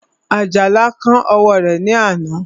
Àjàlá kán ọwọ́ rẹ̀ ní àná